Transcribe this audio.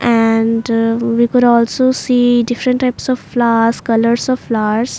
And we could also see different types of flowers colours of flowers.